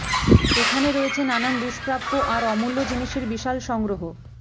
এখানে রয়েছে নানান দুষ্প্রাপ্য আর অমূল্য জিনিসের বিশাল সংগ্রহ